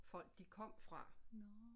Folk de kom fra